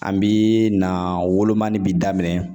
An bi na wolomani bi daminɛ